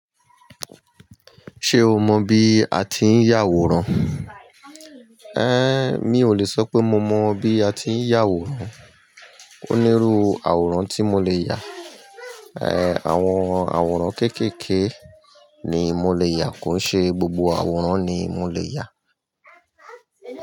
Ṣé o mọ bí a ti ń yà àwòrán? Ehn, mi ò le sọ pé mo mọ bí a ti ń yà àwòrán. Ó nírú àwòrán tí mo lè yà. Ehn, àwọn àwòrán kéékèèké ni mo lè yà kò ṣe gbogbo àwòrán ni mo lè yà.